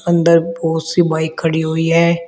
अंदर बहुत सी बाइक खड़ी हुई है।